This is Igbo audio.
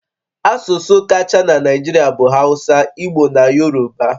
Asụsụ kacha na Naịjirịa bụ Hausa, Igbo na Yoruba